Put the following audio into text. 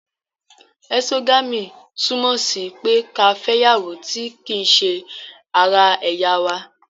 Ẹ̀sogami, túmọ̀ sí pé ká fẹ ìyàwó ti ki se ara ẹ̀yà wa